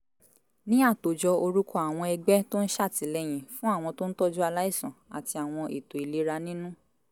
ní àtòjọ orúkọ àwọn ẹgbẹ́ tó ń ṣàtìlẹyìn fún àwọn tó ń tọ́jú aláìsàn àti àwọn ètò ìlera nínú